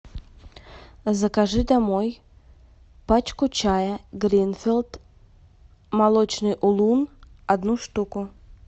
закажи домой пачку чая гринфилд молочный улун одну штуку